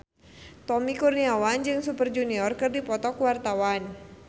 Tommy Kurniawan jeung Super Junior keur dipoto ku wartawan